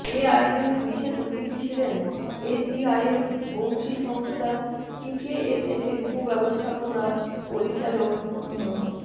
এ আয়োজনে বিশেষ অতিথি ছিলেন এসডিআয়ের অংশী সংস্থা পিকেএসএফের উপ ব্যবস্থাপনা পরিচালক মো